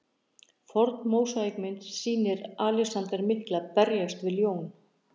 Forn mósaíkmynd sem sýnir Alexander mikla berjast við ljón.